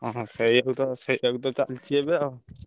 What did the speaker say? ହଁ ସେୟାକୁ ତ ସେୟାକୁ ତ ଚାଲିଛି ଏବେ ଆଉ।